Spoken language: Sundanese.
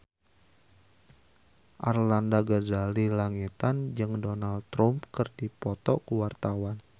Arlanda Ghazali Langitan jeung Donald Trump keur dipoto ku wartawan